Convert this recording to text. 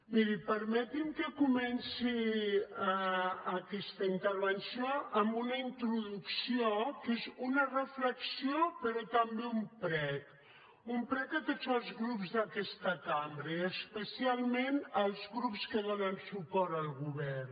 miri permeti’m que comenci aquesta intervenció amb una introducció que és una reflexió però també un prec un prec a tots els grups d’aquesta cambra i especialment als grups que donen suport al govern